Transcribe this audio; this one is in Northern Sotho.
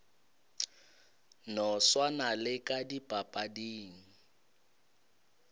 no swana le ka dipapading